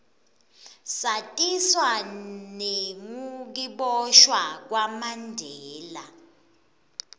satiswa nengukiboshwa kwamandela